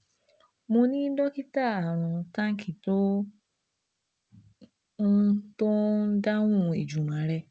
mo ni dokita Arun Tank tó ń tó ń dáhùn ìjùmọ̀ rẹ